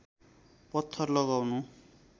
पत्थर लगाउनु